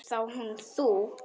Og þá hún þú.